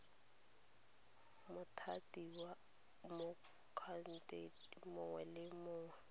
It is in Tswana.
mothati motlhankedi mongwe le mongwe